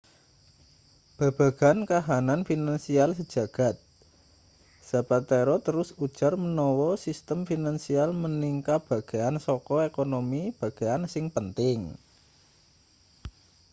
babagan kahanan finansial sejagad zapatero terus ujar manawa sistem finansial minangka bagean saka ekonomi bagean sing penting